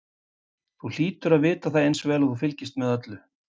Þú hlýtur að vita það eins vel og þú fylgist með öllu.